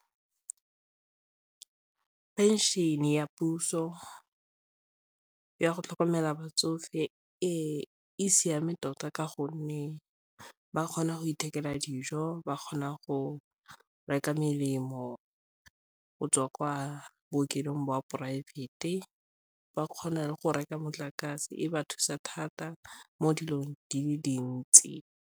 Pension-e ya puso ya go tlhokomela batsofe e siame tota ka gonne ba kgona go ithekela dijo ba kgona go reka melemo go tswa kwa bookelong jwa poraefete, ba kgona go reka motlakase e ba thusa thata mo dilong di le dintsi